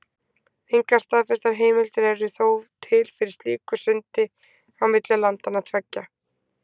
Engar staðfestar heimildir eru þó til fyrir slíku sundi á milli landanna tveggja.